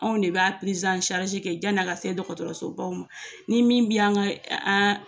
Anw de b'a yan n'a ka se dɔgɔtɔrɔsobaw ma ni min bɛ an ka